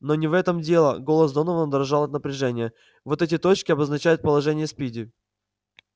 но не в этом дело голос донована дрожал от напряжения вот эти точки обозначают положение спиди